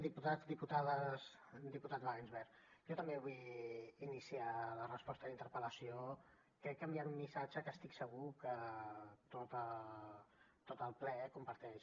diputats diputades diputat wagensberg jo també vull iniciar la resposta a la interpel·lació crec que enviant un missatge que estic segur que tot el ple comparteix